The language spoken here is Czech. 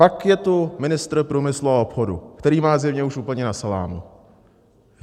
Pak je tu ministr průmyslu a obchodu, který má zjevně už úplně na salámu.